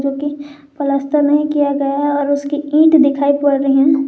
जोकि प्लास्टर नहीं किया गया और उसकी ईट दिखाई पड़ रही हैं।